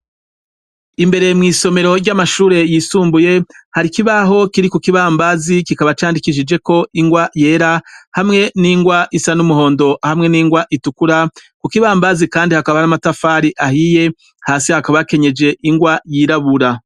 Imbere mw'isomero ry'amashure yisumbuye hari ikibaho kiri ku kibambazi kikaba candikishijeko ingwa yera hamwe n'ingwa isa n'umuhondo hamwe n'ingwa itukura, ku kibambazi kandi hakaba hari n'amatafari ahiye, hasi hakaba hakenyeje ingwa yirabura.